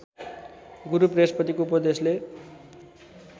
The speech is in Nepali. गुरु वृहस्पतिको उपदेशले